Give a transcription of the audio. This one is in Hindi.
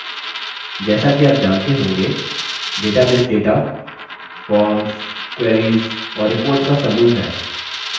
जैसा कि आप जानते होंगे database data forms queries और reports का समूह है